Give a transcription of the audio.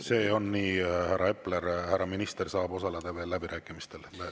See on nii, härra Epler, härra minister saab osaleda läbirääkimistel.